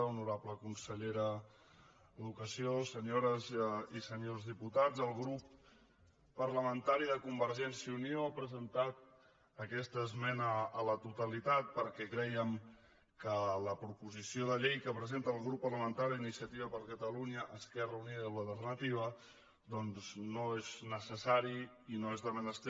honorable consellera d’educació senyores i senyors diputats el grup parlamentari de convergència i unió ha presentat aquesta esmena a la totalitat perquè crèiem que la proposició de llei que presenta el grup parlamentari d’iniciativa per catalunya esquerra unida i alternativa doncs no és necessària i no és de menester